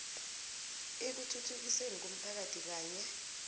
ekuthuthukisweni komphakathi kanye